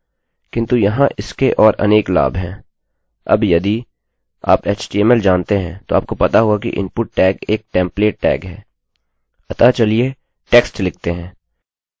अबयदि आप HTML html जानते हैं तो आपको पता होगा कि इनपुट टैगtag एक टेम्प्लेटtemplateटैगtagहै